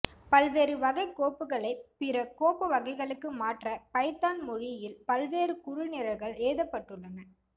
பல்வேறு வகைக்கோப்புகளை பிற கோப்பு வகைகளுக்கு மாற்ற பைதான் மொழியில் பல்வேறு குறுநிரல்கள் எழுதப்பட்டுள்ளன